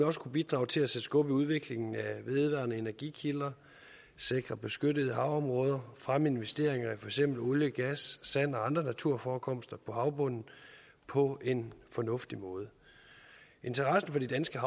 også kunne bidrage til at sætte skub i udviklingen af vedvarende energikilder sikre beskyttede havområder og fremme investeringer i for eksempel olie gas sand og andre naturforekomster på havbunden på en fornuftig måde interessen for de danske